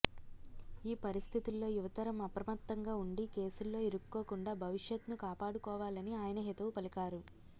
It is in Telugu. ఈపరిస్థితుల్లో యువతరం అప్రమత్తంగా ఉండి కేసుల్లో ఇరుక్కోకుండా భవిష్యత్ను కాపాడుకోవాలని ఆయన హితవు పలికారు